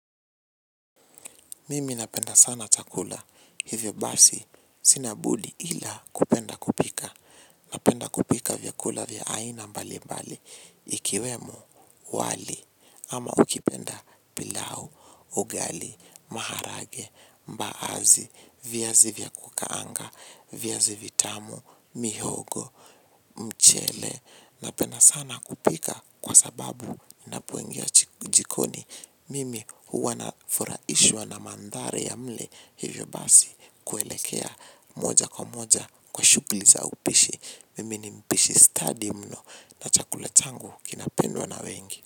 Mimi napenda sana chakula. Hivyo basi sina budi ila kupenda kupika. Napenda kupika vyakula vya aina mbali mbali. Ikiwemo wali ama ukipenda pilau, ugali, maharage, mbaazi, viazi vya kukaanga, vyazi vitamu, mihogo, mchele. Napenda sana kupika kwa sababu ninapoingia jikoni mimi huwa nafurahishwa na manthari ya mle hivyo basi kuelekea moja kwa moja kwa shughuli za upishi mimi nimpishi stadi mno na chakula changu kinapendwa na wengi.